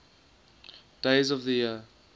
days of the year